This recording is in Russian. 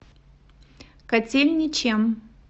котельничем